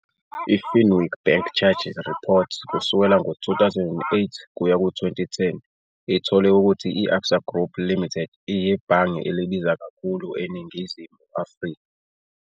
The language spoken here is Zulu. I-Finweek Bank Charges Reports kusukela ngo-2008 kuya ku-2010 ithole ukuthi i-Absa Group Limited iyibhange elibiza kakhulu eNingizimu Afrika.